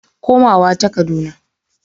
Komawa ta Kaduna.